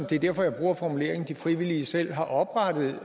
det er derfor jeg bruger formuleringen de frivillige selv har oprettet